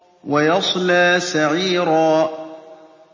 وَيَصْلَىٰ سَعِيرًا